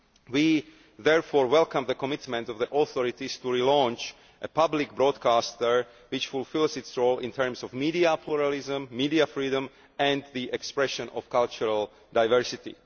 We therefore welcome the commitment of the authorities to relaunch a public broadcaster that fulfils its role in terms of media pluralism, media freedom and the expression of cultural diversity.